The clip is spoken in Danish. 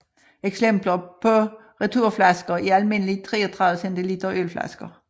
Eksempler på returflasker er almindelige 33 cl ølflasker